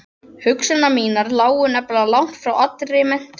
Hugsanir mínar lágu nefnilega langt frá allri menntun.